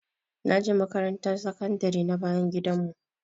Naje makaranta sakandare na bayan gidan mu